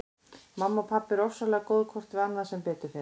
Mamma og pabbi eru ofsalega góð hvort við annað sem betur fer.